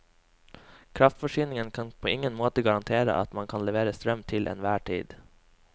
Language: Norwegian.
Kraftforsyningen kan på ingen måte garantere at man kan levere strøm til enhver tid.